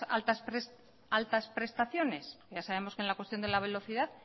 altas prestaciones ya sabemos que en la cuestión de la velocidad